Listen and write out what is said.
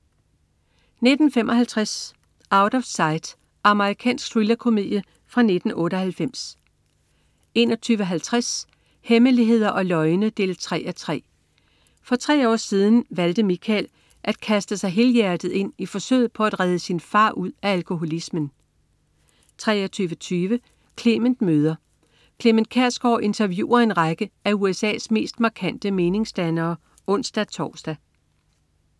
19.55 Out of Sight. Amerikansk thrillerkomedie fra 1998 21.50 Hemmeligheder og løgne 3:3. For tre år siden valgte Michael at kaste sig helhjertet ind i forsøget på at redde sin far ud af alkoholismen 23.20 Clement møder ... Clement Kjersgaard interviewer en række af USA's mest markante meningsdannere (ons-tors)